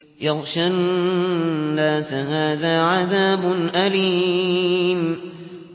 يَغْشَى النَّاسَ ۖ هَٰذَا عَذَابٌ أَلِيمٌ